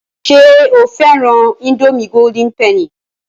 Ṣé o fẹ́ran ińdómì golden penny?